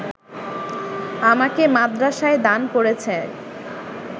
আমাকে মাদ্রাসায় দান করেছে